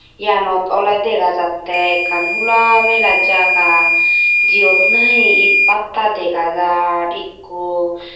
yanot ole dega jatte ekkan hula mela jagah jiyot nahi ed bata dega jar ekko.